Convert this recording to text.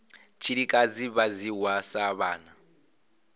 tshilikadzi vha dzhiwa sa vhana